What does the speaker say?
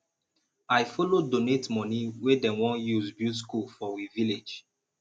i follow donate moni wey dem wan use build skool for we village